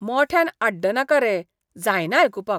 मोठ्यान आड्डनाका रे, जायना आयकुपाक.